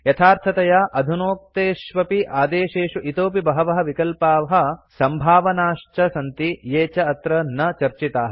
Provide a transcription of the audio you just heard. यथार्थतया अधुनोक्तेष्वपि आदेशेषु इतोऽपि बहवः विकल्पाः सम्भावनाश्च सन्ति ये च अत्र न चर्चिताः